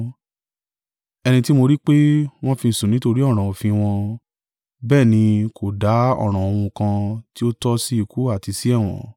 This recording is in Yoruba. Ẹni tí mo rí pé, wọ́n fi sùn nítorí ọ̀ràn òfin wọn, bẹ́ẹ̀ ni kò dá ọ̀ràn ohun kan tí ó tọ́ sí ikú àti sí ẹ̀wọ̀n.